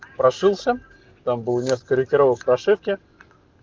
прошился там был несколько корректировок ошибки